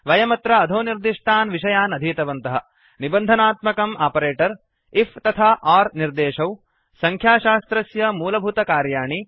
वयमत्र अधोनिर्दिष्टान् विषयान् अधीतवन्तः निबन्धनात्मकम् आपरेटर् आईएफ तथा ओर् निर्देशौ संख्याशास्त्रस्य मूलभूतकार्याणि